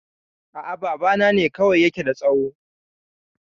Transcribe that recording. A'a, babana ne kawai ya ke da tsaho